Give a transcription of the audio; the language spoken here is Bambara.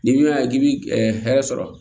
N'i bɛ yan k'i bɛ hɛrɛ sɔrɔ